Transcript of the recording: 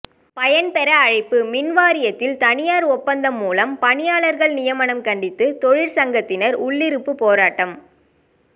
பயன்பெற அழைப்பு மின்வாரியத்தில் தனியார் ஒப்பந்தம் மூலம் பணியாளர்கள் நியமனம் கண்டித்து தொழிற்சங்கத்தினர் உள்ளிருப்பு போராட்டம்